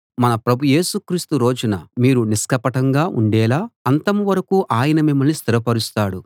మన ప్రభు యేసు క్రీస్తు రోజున మీరు నిష్కపటంగా ఉండేలా అంతం వరకూ ఆయన మిమ్మల్ని స్థిరపరుస్తాడు